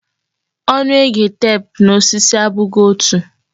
Onu ege tep na osisi abụghị otu.